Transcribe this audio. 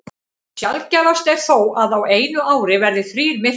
Sjaldgæfast er þó að á einu ári verði þrír myrkvar.